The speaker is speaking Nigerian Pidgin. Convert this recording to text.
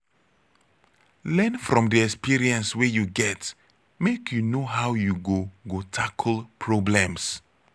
learn from di experience wey you get make you know how you go go tackle problems